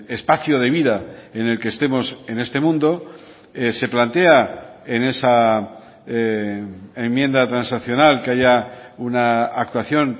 espacio de vida en el que estemos en este mundo se plantea en esa enmienda transaccional que haya una actuación